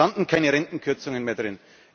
hat. Es standen keine Rentenkürzungen mehr